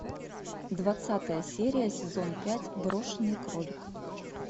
двадцатая серия сезон пять брошенный кролик